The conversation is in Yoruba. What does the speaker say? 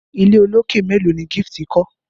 ilé olokè melo ní Gift kò?